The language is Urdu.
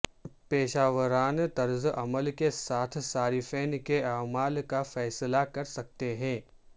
پیشہ ورانہ طرز عمل کے ساتھ صارفین کے اعمال کا فیصلہ کر سکتے ہیں